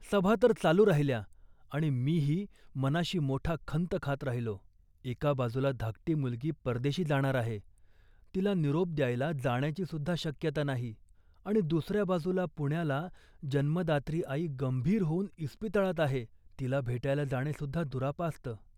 सभा तर चालू राहिल्या आणि मीही मनाशी मोठा खंत खात राहिलो. एका बाजूला धाकटी मुलगी परदेशी जाणार आहे, तिला निरोप द्यायला जाण्याचीसुद्धा शक्यता नाही आणि दुसऱ्या बाजूला पुण्याला जन्मदात्री आई गंभीर होऊन इस्पितळात आहे, तिला भेटायला जाणेसुद्धा दुरापास्त